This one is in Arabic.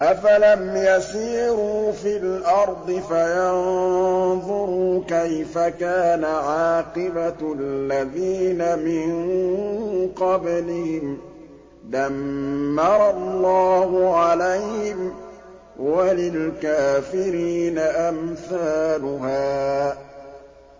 ۞ أَفَلَمْ يَسِيرُوا فِي الْأَرْضِ فَيَنظُرُوا كَيْفَ كَانَ عَاقِبَةُ الَّذِينَ مِن قَبْلِهِمْ ۚ دَمَّرَ اللَّهُ عَلَيْهِمْ ۖ وَلِلْكَافِرِينَ أَمْثَالُهَا